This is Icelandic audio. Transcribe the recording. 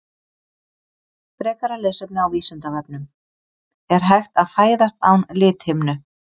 Frekara lesefni á Vísindavefnum: Er hægt að fæðast án lithimnu?